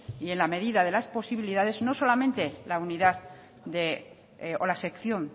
y en la medida de la posibilidades no solamente la unidad o la sección